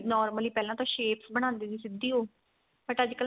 normally ਪਹਿਲਾਂ ਤਾਂ shape ਬਣਾਂਦੇ ਸੀ ਸਿੱਧੀ ਉਹ but ਅੱਜਕਲ ਨਾ